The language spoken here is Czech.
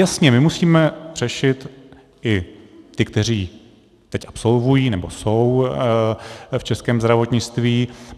Jasně, my musíme řešit i ty, kteří teď absolvují nebo jsou v českém zdravotnictví.